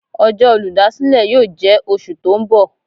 Ọjọ́ olúdásílè yóò jẹ́ oṣù tó ń bọ̀.